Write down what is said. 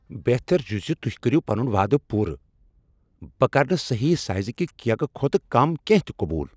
بہتر چھ ز تہۍ کٔرِو پنن وعدٕ پوٗرٕ۔ بہٕ کرٕ نہٕ صحیح سائزٕ کِہ کیکہٕ کھوتہٕ کم کینٛہہ تِہ قبول۔